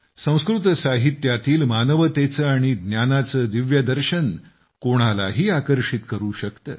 संस्कृत साहित्यातील मानवतेचे आणि ज्ञानाचे दिव्य दर्शन कोणालाही आकर्षित करू शकते